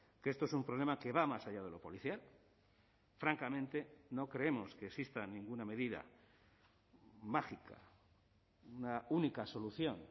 que esto es un problema que va más allá de lo policial francamente no creemos que exista ninguna medida mágica una única solución